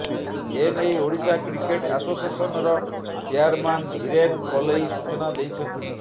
ଏନେଇ ଓଡିଶା କ୍ରିକେଟ୍ ଆସୋସିଏସନର ଚେୟାରମ୍ୟାନ୍ ଧିରେନ୍ ପଲେଇ ସୂଚନା ଦେଇଛନ୍ତି